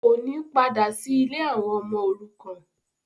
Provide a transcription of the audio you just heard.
kò ní badà sí “ ilé àwọn ọmọ òrukan”.